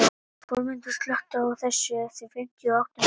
Þórmundur, slökktu á þessu eftir fimmtíu og átta mínútur.